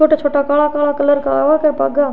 छोटा छोटा कला काला कलर का --